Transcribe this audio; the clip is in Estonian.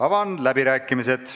Avan läbirääkimised.